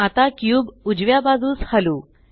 आता क्यूब उजव्या बाजूस हलवू